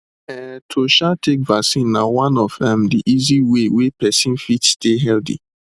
um to um take vaccine na one of um the easy way wey person fit stay healthy